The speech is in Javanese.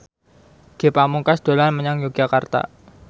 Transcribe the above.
Ge Pamungkas dolan menyang Yogyakarta